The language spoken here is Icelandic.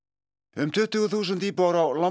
um tuttugu þúsund íbúar á